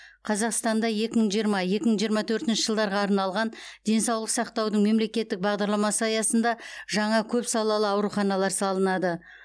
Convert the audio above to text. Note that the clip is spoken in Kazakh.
қазақстанда екі мың жиырма екі мың жиырма төртінші жылдарға арналған денсаулық сақтаудың мемлекеттік бағдарламасы аясында жаңа көпсалалы ауруханалар салынады